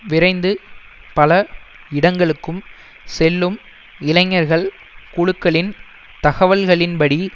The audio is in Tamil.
விரைந்து பல இடங்களுக்கும் செல்லும் இளைஞர்கள் குழுக்களின் தகவல்களின் படி